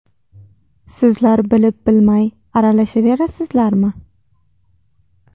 Sizlar bilib-bilmay aralashaverasizlarmi?